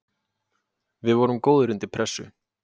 Við vorum góðir undir pressu.